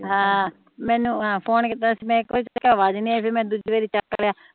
ਹਮ ਮੈਨੂੰ ਫੋਨ ਕੀਤਾ ਸੀ ਮੈਨੂੰ ਅਵਾਜ਼ ਹੀ ਨੀ ਆਈ ਫੇਰ ਮੈ ਦੂਜੀ ਬੜੀ ਚੱਕ ਲੇਆ